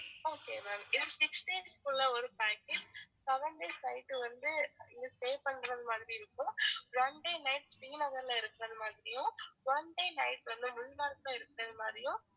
okay ma'am இது six days உள்ள ஒரு package seven days night வந்து நீங்க stay பண்றது மாதிரி இருக்கும் one day night ஸ்ரீநகர்ல இருக்கிறது மாதிரியும் one day night வந்து குல்மார்க்ல இருக்கிறது மாதிரியும்